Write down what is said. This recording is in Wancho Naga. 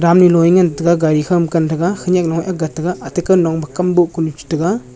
damnu low a ngan taga gari khow ma gan tega khenek nu a boh ga tega.